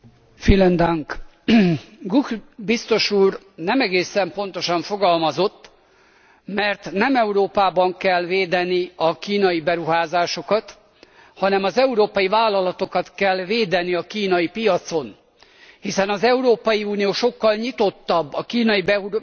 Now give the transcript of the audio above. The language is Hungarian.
Gucht biztos úr nem egészen pontosan fogalmazott, mert nem Európában kell védeni a kínai beruházásokat, hanem az európai vállalatokat kell védeni a kínai piacon, hiszen az Európai Unió sokkal nyitottabb a kínai beruházásokkal szemben,